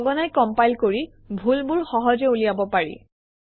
সঘনাই কমপাইল কৰি ভুলবোৰ সহজে উলিয়াব পাৰি